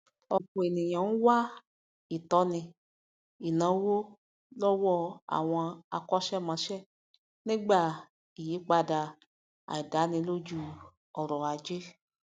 ọpọ ènìyàn ńwá ìtọni ináwó lọwọ àwọn akọsẹmọṣẹ nígbà ìyípadà àìdánilójú ọrọ ajé